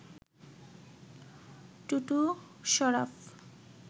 Tutu, Sharaf